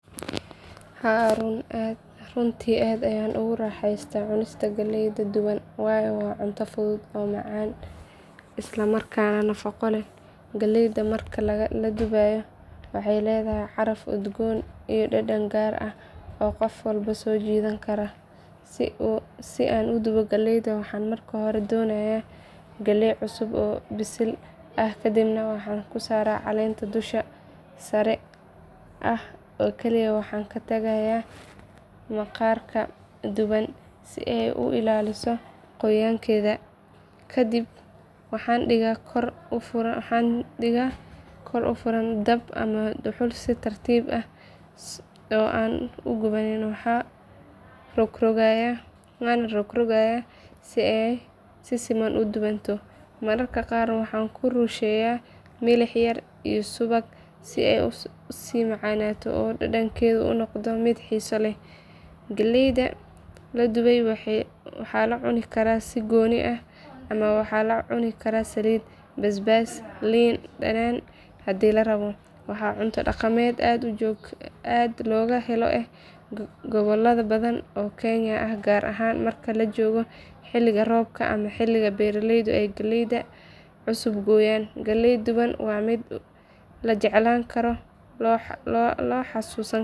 Haa runtii aad ayaan ugu raaxaystaa cunista galleyda duban waayo waa cunto fudud oo macaan isla markaana nafaqo leh. Galleeyda marka la dubayo waxay leedahay caraf udgoon iyo dhadhan gaar ah oo qof walba soo jiidan kara. Si aan u dubo galleyda waxaan marka hore dooranayaa galley cusub oo bisil ah kadibna waxaan ka saaraa caleenta dusha sare ah oo kaliya waxaan ka tagayaa maqaarka dhuuban si ay u ilaaliso qoyaan keeda. Kadib waxaan dhigaa kor u furan dab ama dhuxul si tartiib ah oo aan u gubanin waxaana rogrogayaa si ay si siman u dubanto. Mararka qaar waxaan ku rusheeyaa milix yar iyo subag si ay u sii macaato oo dhadhankeedu u noqdo mid xiiso leh. Galleyda la dubay waxaa lagu cuni karaa si gooni ah ama waxaa lala cuni karaa saliid, basbaas iyo liin dhanaan haddii la rabo. Waa cunto dhaqameed aad looga helo gobollo badan oo Kenya ah gaar ahaan marka la joogo xilli roobaadka ama xilli beeraleydu ay galleey cusub gooyaan. Galleyda duban waa mid la jeclaan karo oo la xasuusan karo.